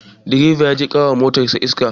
Direba ya je ƙara wa motan iska